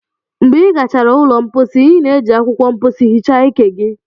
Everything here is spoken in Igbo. Mgbe ị gachara ụlọ mposi, ị na-eji akwụkwọ mposi hichaa ike gị